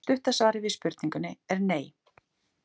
Stutta svarið við spurningunni er nei.